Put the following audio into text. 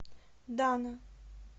дана